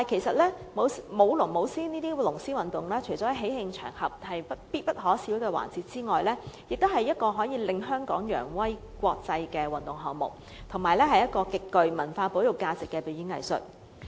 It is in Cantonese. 不過，舞龍舞獅等龍獅運動除了是喜慶場合必不可少的環節之外，也是一項可令香港揚威國際的運動項目，而且是一個極具文化保育價值的表演藝術。